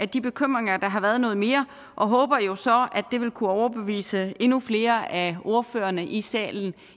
de bekymringer der har været noget mere og håber jo så at det vil kunne overbevise endnu flere af ordførerne i salen